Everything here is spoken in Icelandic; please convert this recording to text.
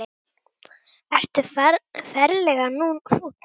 Ertu ferlega fúll?